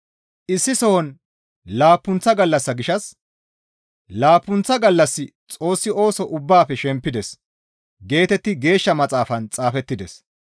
Issi sohon laappunththa gallassa gishshas, «Laappunththa gallassi Xoossi ooso ubbaafe shempides» geetetti Geeshsha Maxaafaan xaafettides.